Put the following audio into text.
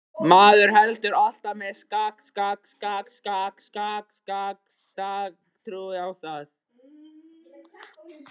Maður heldur alltaf með sakleysinu og trúir á það.